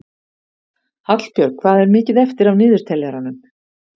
Hallbjörg, hvað er mikið eftir af niðurteljaranum?